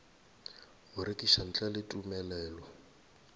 go rekiša ntle le tumelelo